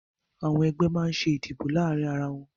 Àwọn ẹgbẹ́ máa ń ṣe ìdìbò láàárín ara wọn